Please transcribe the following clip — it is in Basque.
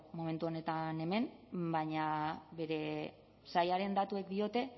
momentu honetan hemen baina bere sailaren datuek diote